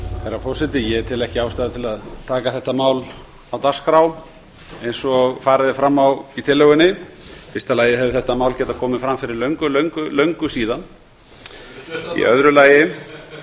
herra forseti ég tel ekki ástæðu til að taka þetta mál á dagskrá eins og farið er fram á í tillögunni í fyrsta lagi hefði þetta mál getað komið fram fyrir löngu síðan í